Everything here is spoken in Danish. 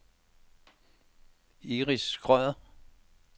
Iris Schrøder